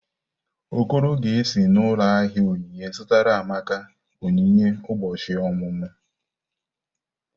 Okoro ga-esi n’ụlọ ahịa onyinye zụtara Amaka onyinye ụbọchị ọmụmụ.